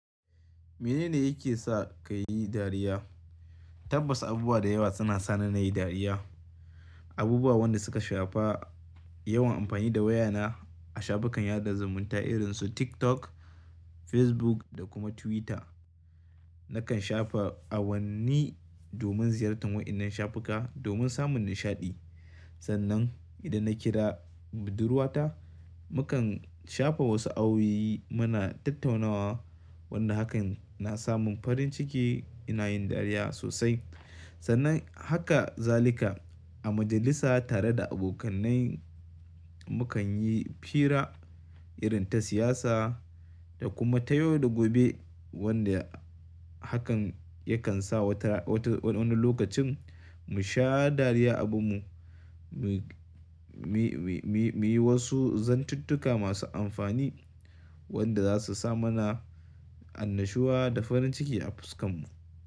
Mene ne yake sa ka yi dariya? Tabbas abubuwa da yawa suna sa na yi dariya. Abubuwa wanda suka shafa yawan amfani da wayana a shafukan yaɗa zumunta irin su TikTok, Facebook da kuma Twitter. Nakan shafa awanni domin ziyartar wa'innan shafuka domin samun nishaɗi. Sannan idan na kira budurwata, mukan shafe wasu awuyi muna tattaunawa wanda hakan na sa mun farin ciki ina yin dariya sosai. Sannan haka zalika a majalisa tare da abokanai mukan yi fira irin ta siyasa da kuma ta yau da gobe wanda hakan yakan sa wata wata wani lokacin mu sha dariya abu mu, mu, mu, mu, mu yi wasu zanttuka masu amfani wanda za su sa mana annashuwa da farin ciki a fuskan mu.